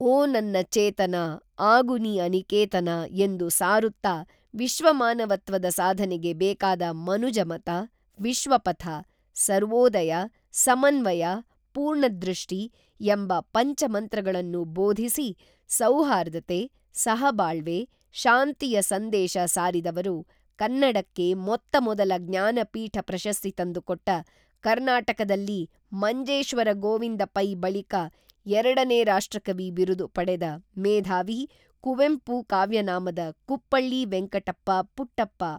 ಓ ನನ್ನ ಚೇತನಾ ಆಗು ನೀ ಅನಿಕೇತನಾ ಎಂದು ಸಾರುತ್ತಾ ವಿಶ್ವಮಾನವತ್ವದ ಸಾಧನೆಗೆ ಬೇಕಾದ ಮನುಜಮತ, ವಿಶ್ವಪಥ. ಸರ್ವೋದಯ, ಸಮನ್ವಯ ಪೂರ್ಣದೃಷ್ಟಿ, ಎಂಬ ಪಂಚಮಂತ್ರಗಳನ್ನು ಬೋಧಿಸಿ ಸೌಹಾರ್ದತೆ, ಸಹಬಾಳ್ವೆ, ಶಾಂತಿಯ ಸಂದೇಶ ಸಾರಿದವರು ಕನ್ನಡಕ್ಕೆ ಮೊತ್ತ ಮೊದಲ ಜ್ಞಾನಪೀಠ ಪ್ರಶಸ್ತಿ ತಂದುಕೊಟ್ಟ ಕರ್ನಾಟಕದಲ್ಲಿ ಮಂಜೇಶ್ವರ ಗೋವಿಂದ ಪೈ ಬಳಿಕ ಎರಡನೇ ರಾಷ್ಟ್ರಕವಿ ಬಿರುದು ಪಡೆದ ಮೇಧಾವಿ ಕುವೆಂಪು ಕಾವ್ಯನಾಮದ ಕುಪ್ಪಳ್ಳಿ ವೆಂಕಟಪ್ಪ ಪುಟ್ಟಪ್ಪ